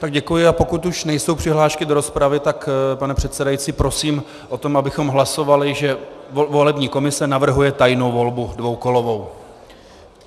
Tak děkuji, a pokud už nejsou přihlášky do rozpravy, tak, pane předsedající, prosím o to, abychom hlasovali, že volební komise navrhuje tajnou volbu dvoukolovou.